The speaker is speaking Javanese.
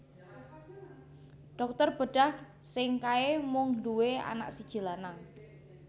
Dokter bedah sing kae mung nduwe anak siji lanang